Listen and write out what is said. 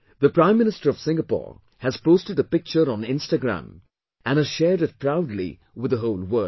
The Prime Minister of Singapore has posted a picture on Instagram and has shared it proudly with the whole world